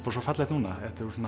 fallegt núna